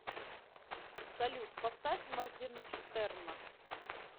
салют поставь моргинштерна